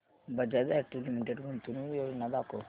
Bajaj auto limited गुंतवणूक योजना दाखव